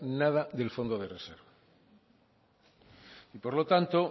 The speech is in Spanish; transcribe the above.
nada del fondo de reserva y por lo tanto